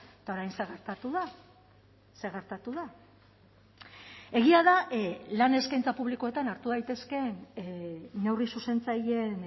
eta orain zer gertatu da zer gertatu da egia da lan eskaintza publikoetan hartu daitezkeen neurri zuzentzaileen